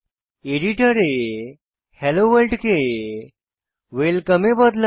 এডিটরে hello world কে welcome এ বদলান